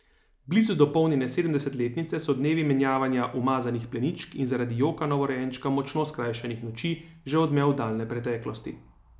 Blizu dopolnjene sedemdesetice so dnevi menjavanja umazanih pleničk in zaradi joka novorojenčka močno skrajšanih noči že odmev daljne preteklosti.